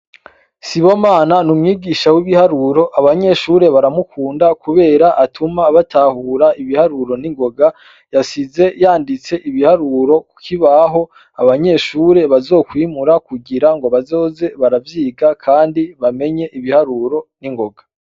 Sibomana n’umwigisha w'ibiharuro abanyeshure baramukunda kubera atuma batahura ibiharuro n'ingoga, yasize yanditse ibiharuro kukibaho abanyeshure bazokwimura kugira ngo bazoze baravyiga kandi bamenye ibiharuro n'ingoga.